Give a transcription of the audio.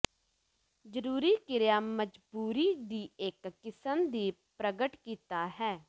ਜ਼ਰੂਰੀ ਕ੍ਰਿਆ ਮਜਬੂਰੀ ਦੀ ਇੱਕ ਕਿਸਮ ਦੀ ਪ੍ਰਗਟ ਕੀਤਾ ਹੈ